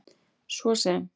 svo sem